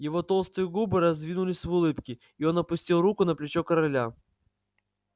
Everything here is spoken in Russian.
его толстые губы раздвинулись в улыбке и он опустил руку на плечо короля